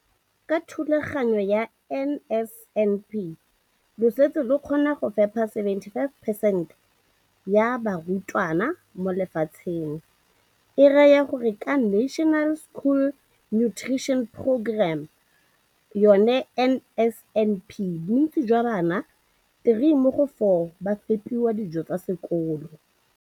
Ka NSNP le fetile dipeelo tsa lona tsa go fepa masome a supa le botlhano a diperesente ya barutwana ba mo nageng.